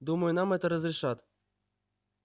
думаю нам это разрешат